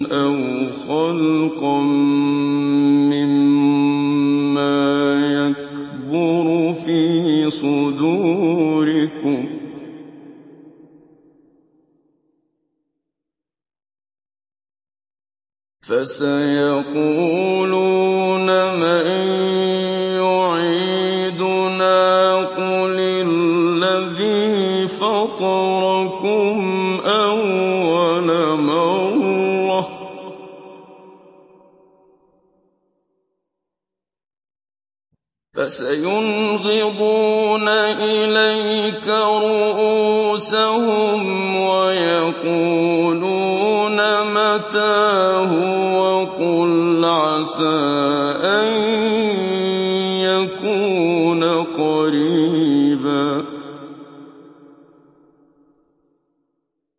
أَوْ خَلْقًا مِّمَّا يَكْبُرُ فِي صُدُورِكُمْ ۚ فَسَيَقُولُونَ مَن يُعِيدُنَا ۖ قُلِ الَّذِي فَطَرَكُمْ أَوَّلَ مَرَّةٍ ۚ فَسَيُنْغِضُونَ إِلَيْكَ رُءُوسَهُمْ وَيَقُولُونَ مَتَىٰ هُوَ ۖ قُلْ عَسَىٰ أَن يَكُونَ قَرِيبًا